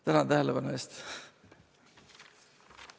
Tänan tähelepanu eest!